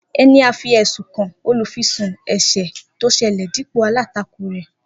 Eni a fi ẹsun kan olufisun ese to sele dipo alatako re